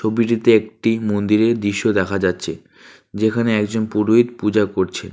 ছবিটিতে একটি মন্দিরের দৃশ্য দেখা যাচ্ছে যেখানে একজন পুরোহিত পূজা করছে।